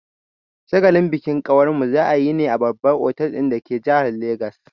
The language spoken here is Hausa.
Shagalin bikin kawarmu za'a yi ne a babbar otal dake jihar Legas.